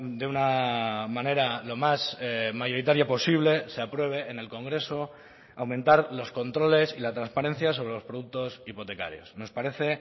de una manera lo más mayoritaria posible se apruebe en el congreso aumentar los controles y la transparencia sobre los productos hipotecarios nos parece